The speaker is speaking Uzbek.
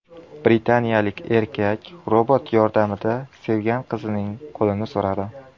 Britaniyalik erkak robot yordamida sevgan qizining qo‘lini so‘radi .